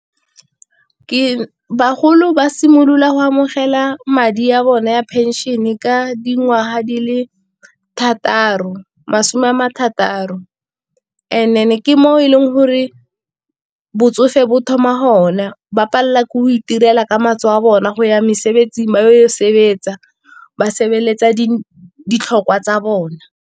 bagolo ba simolola go amogela madi ya bone ya pension-e ka dingwaga di le masome a marataro and then-e ke mo e leng gore botsofe bo thoma ho na, ba palelwa ke go itirela ka matsogo a bona go ya mesebetsing ba o sebetsa ba sebeletsa ditlhokwa tsa bona.